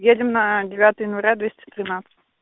едем на девятое января двести тринадцать